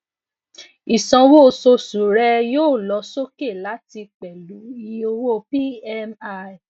isanwo oṣooṣu rẹ yoo lọ soke lati pẹlu iye owo pmi